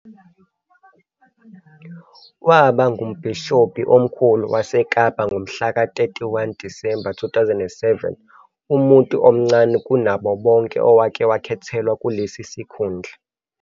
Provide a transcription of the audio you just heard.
Waba ngumbhishobhi omkhulu waseKapa ngomhlaka 31 Disemba 2007, umuntu omncane kunabo bonke owake wakhethelwa kulesi sikhundla.